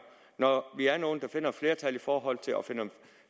når vi er nogle der finder et flertal for at finde